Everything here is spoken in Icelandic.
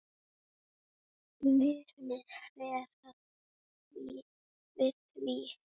Muniði verða við því?